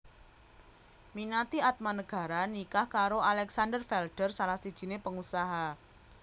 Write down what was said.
Minati Atmanegara nikah karo Alexander Felder salah sijine pengusaha